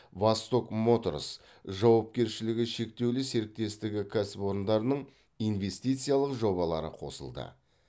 восток моторс жауапкершілігі шектеулі серіктестігі кәсіпорындарының инвестициялық жобалары қосылды